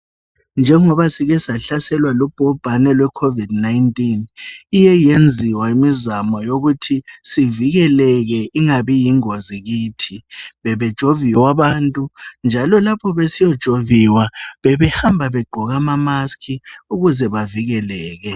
Njengoba sikesahlaselwa lubhubhane lwecovid 19. Iyeyenziwa imizamo yokuthi sivikeleke ingabi yingozi kithi. Bebejoviwa abantu njalo lapho besiyojoviwa bebehamba begqoke amamaski ukuze bavikeleke.